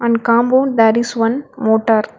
Compound there is one motor.